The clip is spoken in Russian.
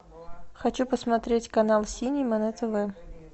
хочу посмотреть канал синема на тв